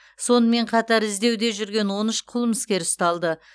сонымен қатар іздеуде жүрген он үш қылмыскер ұсталды